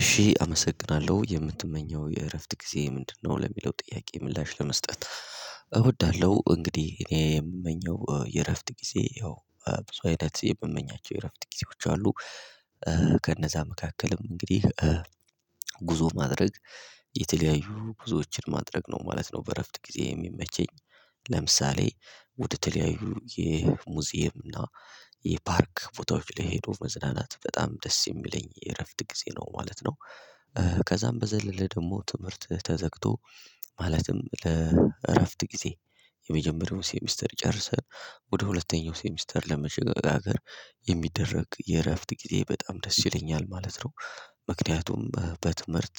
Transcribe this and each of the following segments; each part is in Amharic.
እሺ አመሰግናለሁ የምትመኘው የእረፍት ጊዜ ምንድነው? ለሚለው ጥያቄ ምላሽ ለመስጠት። እወዳለሁ እንግዲህ እኔ የምመኘው የእረፍት ጊዜ ያው ብዙ አይነት የምመኛቸው የእረፍት ጊዜዎች አሉ። ከነዛ መካከልም እንግዲህ ጉዞ ማድረግ የተለያዩ ጉዞዎችን ማድረግ ነው ማለት ነው። በእረፍት ጊዜ የሚመቸኝ ለምሳሌ ውድ ተለያዩ የሙዚየም እና የፓርክ ቦታዎች ላይ ሄዶ መዝናናት በጣም ደስ የሚለኝ የእረፍት ጊዜ ነው ማለት ነው። ከዛም በዘለለ ደግሞ ትምህርት ተዘግቶ ማለትም ለእረፍት ጊዜ የመጀመሪያው ሴሚስተር ጨርሰን በሁለተኛው ሴሚስተር ለመሸጋገር የሚደረግ የእረፍት ጊዜ በጣም ደስ ይለኛል ማለት ነው። ምክንያቱም በትምህርት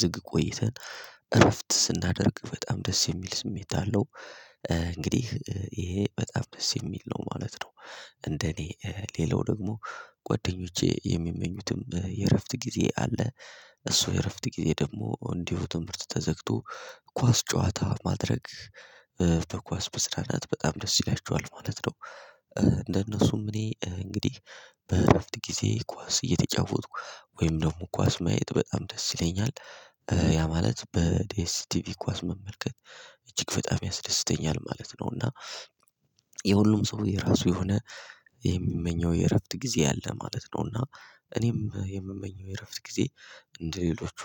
ዝግ ቆይተን እረፍት ስናደርግ በጣም ደስ የሚል ስሜት አለው እንግዲህ ይሄ በጣም ደስ የሚል ነው ማለት ነው። እንደኔ ሌላው ደግሞ ጓደኞቼ የሚመኙትም የእረፍት ጊዜ አለ። እሱ የእረፍት ጊዜ ደግሞ እንዲሁ ትምህርት ተዘግቶ ኳስ ጨዋታ ማድረግ በኳስ በስራ ናት በጣም ደስ ይላችኋል ማለት ነው። እንደነሱም እኔ እንግዲህ በእረፍት ጊዜ ኳስ እየተጫወትኩ ወይም ደግሞ ኳስ ማየት በጣም ደስ ይለኛል ያ ማለት በዲኤስቲቪ ኳስ መመልከት እጅግ በጣም ያስደስተኛል ማለት ነው። እና የሁሉም ሰው የራሱ የሆነ የሚመኘው የእረፍት ጊዜ አለ ማለት ነው። እና እኔም የምመኘው የእረፍት ጊዜ እንደ ሌሎቹ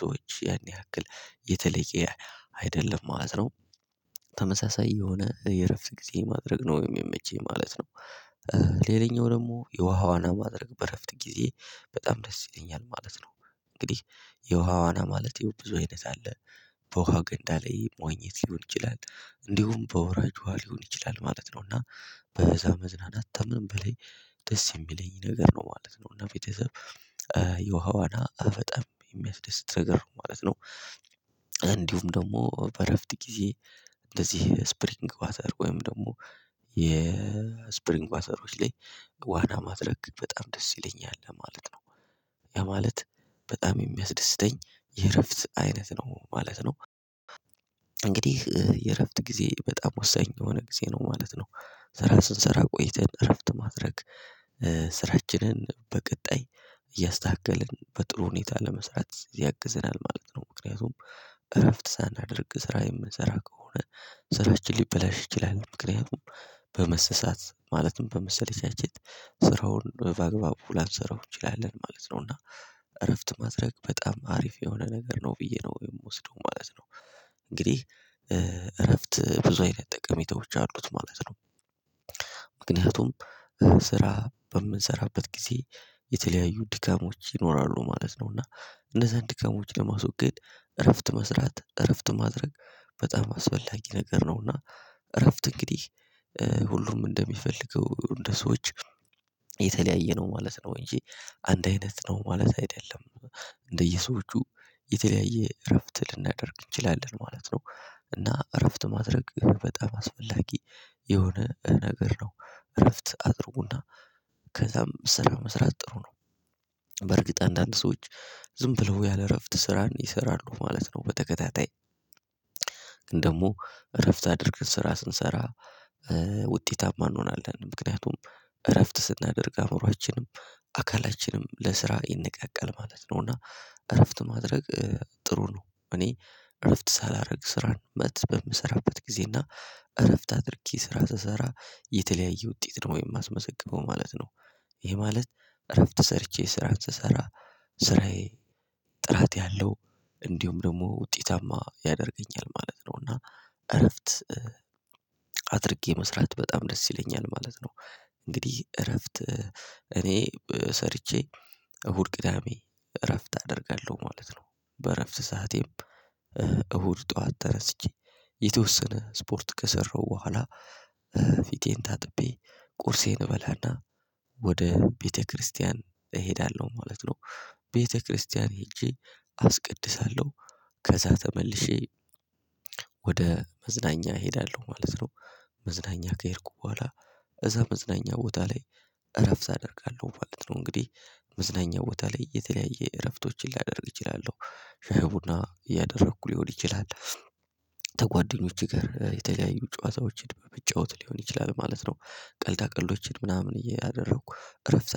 ሰዎች ያን ያክል የተለየ አይደለም ማለት ነው። ተመሳሳይ የሆነ የእረፍት ጊዜ ማድረግ ነው የሚመቸኝ ማለት ነው። ሌላኛው ደግሞ የውሃዋና ማድረግ በእረፍት ጊዜ በጣም ደስ ይለኛል ማለት ነው። እንግዲህ የውሃ ዋና ማለት የው ብዙ አይነት አለ በውሃው ገንዳ ላይ መዋኘት ሊሆን ይችላል እንዲሁም በወራጅ ውሃ ሊሆን ይችላል ማለት ነው። እና በዛ መዝናናት ከምን በላይ ደስ የሚለኝ ነገር ነው ማለት ነው እና ቤተሰብ የውሃ ዋና በጣም የሚያስደስት ነገር ነው ማለት ነው። እንዲሁም ደግሞ በእረፍት ጊዜ እንደዚህ ስፕሪንግ ባዘር ወይም ደግሞ የስፕሪንግ ባዘሮች ላይ ዋና ማድረግ በጣም ደስ ይለኛል ለማለት ነው። ያማለት በጣም የሚያስደስተኝ የእረፍት አይነት ነው ማለት ነው። እንግዲህ የእረፍት ጊዜ በጣም ወሳኝ የሆነ ጊዜ ነው ማለት ነው። ስራ ስንሰራ ቆይተን እረፍት ማድረግ ስራችንን በቀጣይ እያስተካከልን በጥሩ ሁኔታ ለመስራት ያግዘናል ማለት ነው። ምክንያቱም እረፍት ሳናደርግ ስራ የምንሰራ ከሆነ ስራችን ሊበላሽ ይችላል ምክንያቱም በመሰሳት ማለትም በመሰለቻቸት ስራውን በአግባቡ ላንሰራው እንችላለን ማለት ነው። እና እረፍት ማድረግ በጣም አሪፍ የሆነ ነገር ነው ብዬ ነው የምወስደው ማለት ነው። እንግዲህ እረፍት ብዙ አይነት ጠቀሜታዎች አሉት ማለት ነው። ምክንያቱም ስራ በምንሰራበት ጊዜ የተለያዩ ድካሞች ይኖራሉ ማለት ነው እና እንደዛ ድካሞች ለማስወገድ እረፍት መስራት እረፍት ማድረግ በጣም አስፈላጊ ነገር ነውና። እረፍት እንግዲህ ሁሉም እንደሚፈልገው እንደ ሰዎች የተለያየ ነው ማለት ነው። እንጂ አንድ አይነት ነው ማለት አይደለም። እንደየሰዎቹ የተለያየ እረፍት ልናደርግ እንችላለን ማለት ነው። እና እረፍት ማድረግ በጣም አስፈላጊ የሆነ ነገር ነው። እረፍት አድርጉና ከዛም ስራ መስራትጥሩ ነው። በርግጥ አንዳንድ ሰዎች ዝም ብለው ያለ እረፍት ስራን ይሰራሉ ማለት ነው። በተከታታይ እንደውም እረፍት አድርገን ስራ ስንሰራ ውጤታማ እንሆናለን ምክንያቱም እረፍት ስናደርግ አእምሮአችንም አካላችንም ለስራ ይንቃቃል ማለት ነው። እና እረፍት ማድረግ ጥሩ ነው እኔ እረፍት ሳላደርግ ስራን በምሰራበት ጊዜ እና እረፍት አድርጊ ስራ ስሰራ የተለያየ ውጤት ነው የማስመዘግበው ማለት ነው። ይሄ ማለት እረፍት ሰርቼ ስራ ስሰራ ስራዬ ጥራት ያለው እንዲሁም ደግሞ ውጤታማ ያደርገኛል ማለት ነው። እና እረፍት አድርጌ መስራት በጣም ደስ ይለኛል ማለት ነው። እንግዲህ እረፍት እኔ ሰርቼ እሁድ ቅዳሜ እረፍት አደርጋለሁ ማለት ነው። በእረፍት ሰዓቴም እሁድ ጠዋት ተነስቼ የተወሰነ ስፖርት ከሰራሁ በኋላ ፊቴን ታጥቤ ቁርሴን እበላና ወደ ቤተክርስቲያን እሄዳለሁ ማለት ነው። ቤተክርስቲያን ሄጄ አስቀድሳለሁ ከዛ ተመልሼ ወደ መዝናኛ እሄዳለሁ ማለት ነው። መዝናኛ ከሄድኩ በኋላ እዛ መዝናኛ ቦታ ላይ እረፍት አደርጋለሁ ማለት ነው። እንግዲህ መዝናኛ ቦታ ላይ የተለያየ እረፍቶችን ሊያደርግ እችላለሁ። ሻይ ቡና እያደረኩ ሊሆን ይችላል ያማለት በጣም የሚያስደስተኝ የእረፍት አይነት ነው ማለት ነው። እንግዲህ የእረፍት ጊዜ በጣም ወሳኝ የሆነ ጊዜ ነው ማለት ነው። ስራ ስንሰራ ቆይተን እረፍት ማድረግ